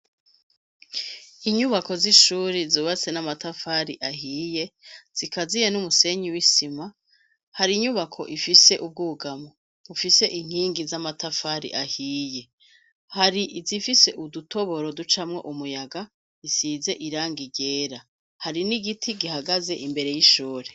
inyubako z'ishuri zubatse n'amatafari ahiye zikaziye n'umusenyi w'isima hari inyubako ifise ubwugamo ufise inkingi z'amatafari ahiye hari zifise udutoboro ducamwo umuyaga isize irangi ryera hari n'igiti gihagaze imbere y'ishuri